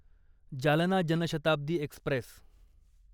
Jalna Janshatabdi Express